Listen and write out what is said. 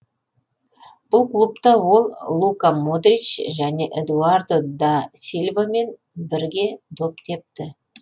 бұл клубта ол лука модрич және эдуардо да сильвамен бірге доп тепті